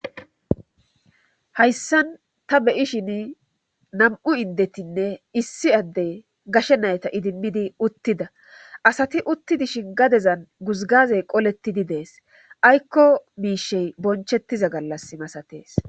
Hayssan ta beyishin nam'u indetinne issi addey gashe nayta idimmidi uttida asati uttidi shin gadezan guzgazey qolettidi dees aykko miishey bonchettiza gallas imasatees.